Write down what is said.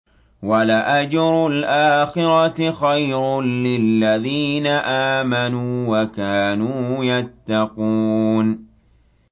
وَلَأَجْرُ الْآخِرَةِ خَيْرٌ لِّلَّذِينَ آمَنُوا وَكَانُوا يَتَّقُونَ